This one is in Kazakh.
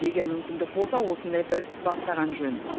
егер мүмкіндік болса осындай бір іс бастаған жөн